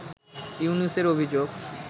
ইউনূসের অভিযোগ